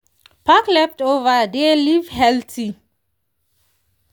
pack leftover dey live healthy.